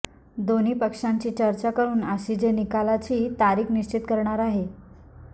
दोन्ही पक्षांची चर्चा करून आसीजे निकालाची तारिख निश्चित करणार आहे